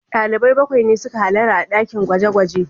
Dalibai bakwai ne suka hallara a dakin gwaje-gwaje